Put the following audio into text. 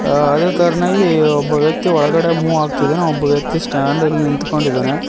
ಅದೇ ತರನಾಗಿ ಒಬ್ಬ ವ್ಯಕ್ತಿ ಒಳಗಡೆ ಮೂವ್ ಆಗ್ತಿದ್ದಾನೆ ಒಬ್ಬ ವ್ಯಕ್ತಿ ಸ್ಟ್ಯಾಂಡ್ ಅಲ್ ನಿಂತ್ಕೊಂಡಿದ್ದಾನೆ.